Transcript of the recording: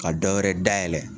Ka dɔwɛrɛ dayɛlɛ.